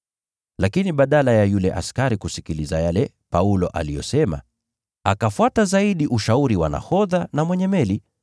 Lakini badala ya yule kiongozi wa askari kusikiliza yale Paulo aliyosema, akafuata zaidi ushauri wa nahodha na mwenye meli.